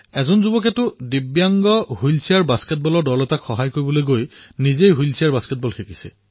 এজন যুৱকে দিব্যাংগৰ হুইলচেয়াৰ বাস্কেটবলৰ দলক সহায় কৰিবলৈ নিজে হুইলচেয়াৰ বাস্কেটবল শিকিলে